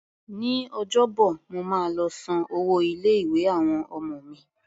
Ní Ọjọ́bọ̀, mo máa lọ san owó ilé-ìwé àwọn ọmọ mi.